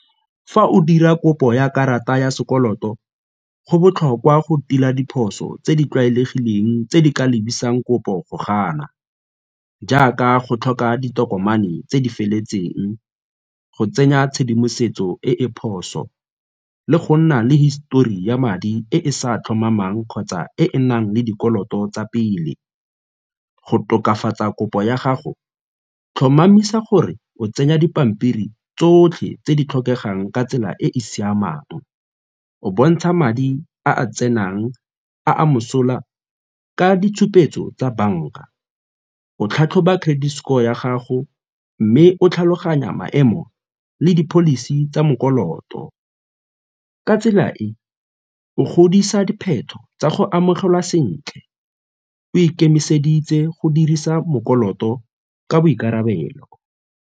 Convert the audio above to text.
Fa o dira kopo ya karata ya sekoloto go botlhokwa go tila diphoso tse di tlwaelegileng tse di ka lebisang kopo go gana jaaka go tlhoka ditokomane tse di feletseng, go tsenya tshedimosetso e e phoso le go nna le histori ya madi e e sa tlhomamang kgotsa e e nang le dikoloto tsa pele. Go tokafatsa kopo ya gago tlhomamisa gore o tsenya dipampiri tsotlhe tse di tlhokegang ka tsela e e siamang, o bontsha madi a tsenang a a mosola ka ditshupetso tsa banka, go tlhatlhoba credit score ya gago mme o tlhaloganya maemo le di-policy tsa . Ka tsela e, o godisa dipheto tsa go amogelwa sentle o ikemiseditse go dirisa ka boikarabelo.